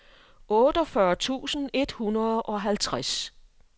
otteogfyrre tusind et hundrede og halvtreds